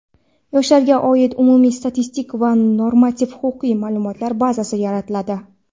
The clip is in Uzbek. yoshlarga oid umumiy statistik va normativ-huquqiy ma’lumotlar bazasi yaratiladi.